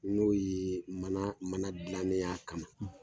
N'o ye mana mana gilanen y'a kama.